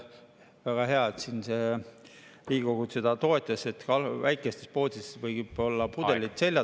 Väga hea, et Riigikogu seda toetas, et väikestes poodides võivad olla pudelid selja taga.